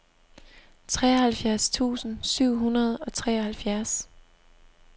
treoghalvfjerds tusind syv hundrede og treoghalvfjerds